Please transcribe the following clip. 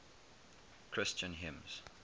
christian hymns